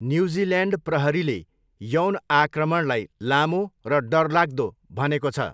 New Zealand प्रहरीले यौन आक्रमणलाई 'लामो र डरलाग्दो' भनेको छ।